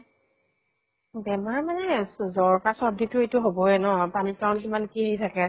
বেমাৰ মানে জ জ্বৰ, কাহঁ, চৰ্দি তো হʼবয়ে ন ? পানী ত ইমান কি কি থাকে ।